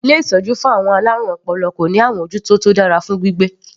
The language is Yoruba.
Ilé ìtọ́jú fún àwọn alárùn ọpọlọ kò ní àmọ́jútó tó dára fún gbígbé.